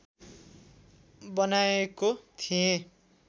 बनाएको थिएँ